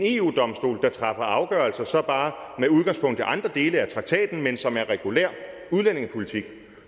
eu domstolen træffer afgørelser så bare med udgangspunkt i andre dele af traktaten men som er regulær udlændingepolitik